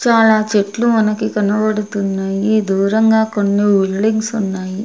చాలా చెట్లు మనకి కనబడుతున్నాయి దూరంగా కొన్ని బిల్డింగ్స్ ఉన్నాయి.